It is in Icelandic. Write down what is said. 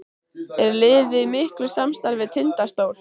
Er liðið í miklu samstarfi við Tindastól?